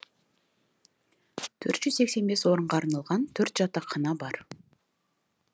төрт жүз сексен бес орынға арналған төрт жатақхана бар